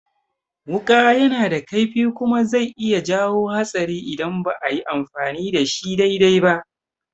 Wuƙa yana da kaifi kuma zai iya jawo hatsari idan ba ayi amfani da shi dai-dai ba